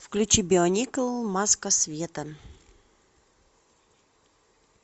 включи бионикл маска света